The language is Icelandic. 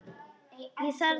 Ég þarf þess ekki.